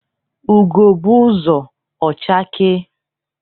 Ugo gbuzuo, ọ chakee.